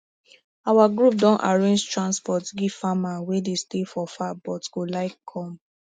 our group don arrange transport give farmer wey dey stay for far but go like come